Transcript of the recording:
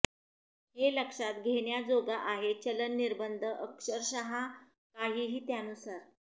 हे लक्षात घेण्याजोगा आहे चलन निर्बंध अक्षरशः काहीही त्यानुसार